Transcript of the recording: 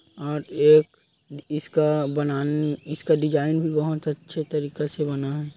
और एक इसका बनान इसका डिज़ाइन भी बहुत अच्छे तरीका से बना--